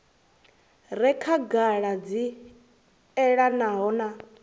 re khagala dzi elanaho na